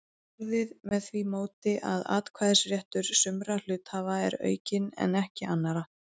orðið með því móti að atkvæðisréttur sumra hluthafa er aukinn en ekki annarra.